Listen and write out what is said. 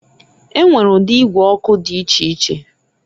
E nwere udi igwe ọkụ di icheiche.